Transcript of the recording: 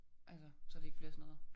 Altså så det ikke bliver sådan noget